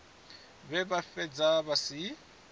vhe vha fhedza vha si